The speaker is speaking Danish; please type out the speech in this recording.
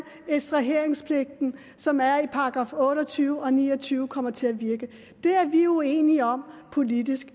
ekstraheringspligten som er i § otte og tyve og ni og tyve kommer til at virke det er vi uenige om politisk